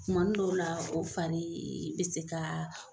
Tumanin dɔw la o farii be se kaa